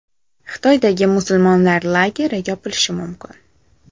Xitoydagi musulmonlar lageri yopilishi mumkin.